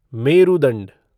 मेरुदंड